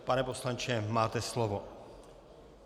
Pane poslanče, máte slovo.